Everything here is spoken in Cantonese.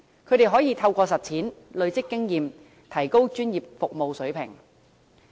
他們可以透過實踐累積經驗，提高專業服務水平。